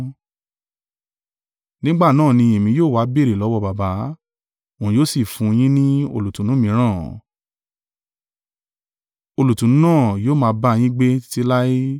Nígbà náà èmi yóò wá béèrè lọ́wọ́ Baba. Òun yóò sì fún yín ní olùtùnú mìíràn. Olùtùnú náà yóò máa bá yín gbé títí láé.